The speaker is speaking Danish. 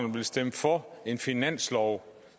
vil stemme for en finanslov